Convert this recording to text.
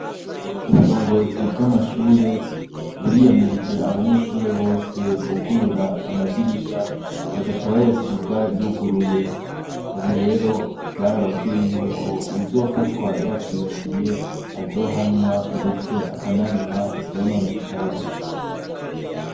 Uburongozi bw'amashure buriyamirije abanyeshure bose bugurura amadirisha bagaca bayasiga yuguruye, ubu rero barababwiye yuko uwuzofatwa yavyibagiye azohanwa, ndetse akanariha ivyononekaye.